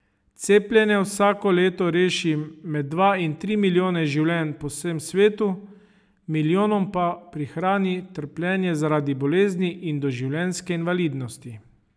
Cepljenje vsako leto reši med dva in tri milijone življenj po vsem svetu, milijonom pa prihrani trpljenje zaradi bolezni in doživljenjske invalidnosti.